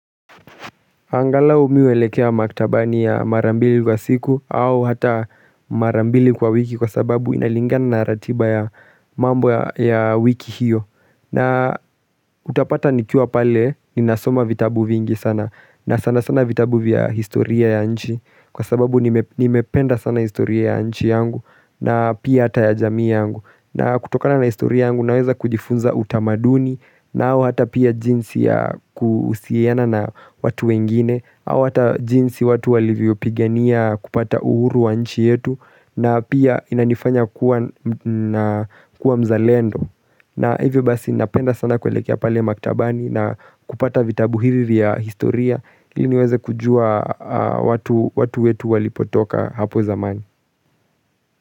Angalau mimi huelekea maktabani ya mara mbili kwa siku au hata mara mbili kwa wiki kwa sababu inalingana na ratiba ya mambo ya wiki hiyo. Na utapata nikiwa pale ninasoma vitabu vingi sana na sana sana vitabu vya historia ya nchi kwa sababu nimependa sana historia ya nchi yangu na pia hata ya jamii yangu. Na kutokana na historia yangu naweza kujifunza utamaduni na au hata pia jinsi ya kuhusiana na watu wengine. Au hata jinsi watu walivyopigania kupata uhuru wa nchi yetu na pia inanifanya kuwa mzalendo. Na hivyo basi ninapenda sana kuelekea pale maktabani na kupata vitabu hivi ya historia iliniweze kujua watu watu wetu walipotoka hapo zamani.